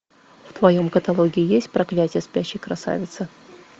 в твоем каталоге есть проклятие спящей красавицы